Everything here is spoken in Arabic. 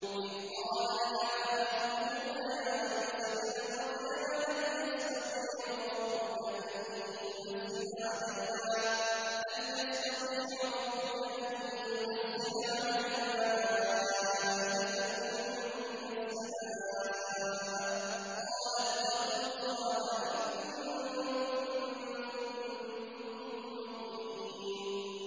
إِذْ قَالَ الْحَوَارِيُّونَ يَا عِيسَى ابْنَ مَرْيَمَ هَلْ يَسْتَطِيعُ رَبُّكَ أَن يُنَزِّلَ عَلَيْنَا مَائِدَةً مِّنَ السَّمَاءِ ۖ قَالَ اتَّقُوا اللَّهَ إِن كُنتُم مُّؤْمِنِينَ